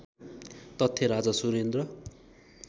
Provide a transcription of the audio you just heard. तथ्य राजा सुरेन्द्र